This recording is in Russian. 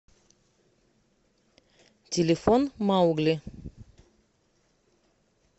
телефон маугли